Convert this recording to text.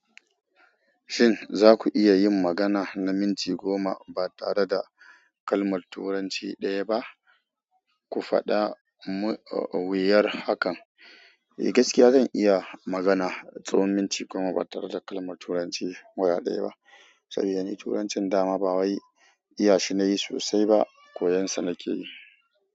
Shin za ku iya yin magana na minti goma ba tare da kalmar Turanci ɗaya ba? Ku faɗa, wuyar hakan. Eh, gaskiya zan iya magana tsawon minti goma ba tare da kalmar Turanci guda ɗaya ba. Saboda ni Turancin dama ba wai iya shi na yi sosai ba, koyon sa nake yi.